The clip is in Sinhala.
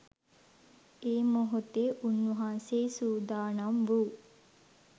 ඒ මොහොතේ උන්වහන්සේ සූදානම් වූ